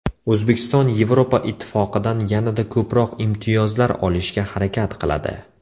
O‘zbekiston Yevropa Ittifoqidan yanada ko‘proq imtiyozlar olishga harakat qiladi.